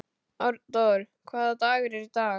Arndór, hvaða dagur er í dag?